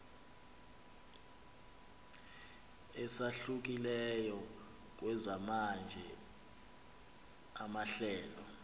esahlukileyo kwezamanye amahlelo